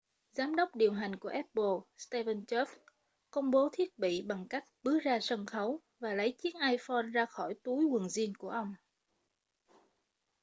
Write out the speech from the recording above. giám đốc điều hành của apple steve jobs công bố thiết bị bằng cách bước ra sân khấu và lấy chiếc iphone ra khỏi túi quần jean của ông ấy